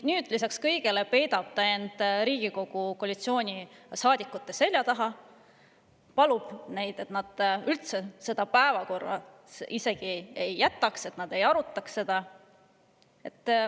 Lisaks kõigele peidab ta nüüd ennast Riigikogu koalitsioonisaadikute selja taha – palub neid, et nad üldse seda teemat isegi päevakorda ei jätaks, et seda ei arutataks.